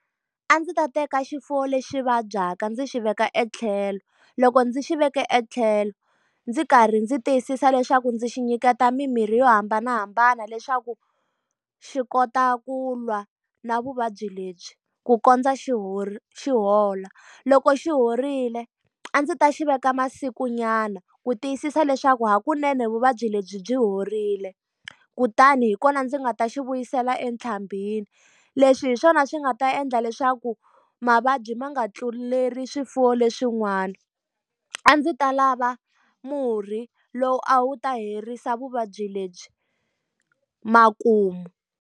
A ndzi ta teka xifuwo lexi vabyaka ndzi xi veka e tlhelo. Loko ndzi xi veke etlhelo, ndzi karhi ndzi tiyisisa leswaku ndzi xi nyiketa mimirhi yo hambanahambana leswaku xi kota ku lwa na vuvabyi lebyi ku kondza xi xi hola. Loko xi horile a ndzi ta xi veka masikunyana, ku tiyisisa leswaku hakunene vuvabyi lebyi byi horile kutani hi kona ndzi nga ta xi vuyisela . Leswi hi swona swi nga ta endla leswaku mavabyi ma nga tluleli swifuwo leswin'wana. A ndzi ta lava murhi lowu a wu ta herisa vuvabyi lebyi makumu.